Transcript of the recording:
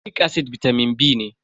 folic acid bitamin B ne.